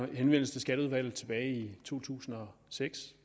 en henvendelse i skatteudvalget tilbage i to tusind og seks